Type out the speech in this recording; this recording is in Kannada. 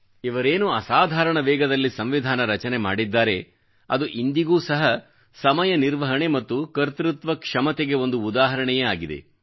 ಇವರೇನು ಅಸಾಧಾರಣ ವೇಗದಲ್ಲಿ ಸಂವಿಧಾನ ರಚನೆ ಮಾಡಿದ್ದಾರೆ ಅದು ಇಂದಿಗೂ ಸಹ ಸಮಯ ನಿರ್ವಹಣೆ ಮತ್ತು ಕರ್ತೃತ್ವಕ್ಷಮತೆ ಒಂದು ಉದಾಹರಣೆಯೇ ಆಗಿದೆ